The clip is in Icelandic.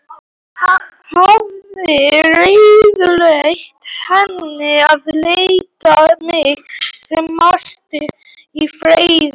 Hafir ráðlagt henni að láta mig sem mest í friði.